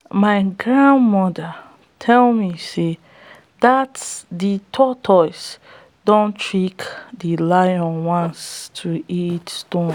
my grandmother tell me sey dat de tortoise don trick de lion once to eat stones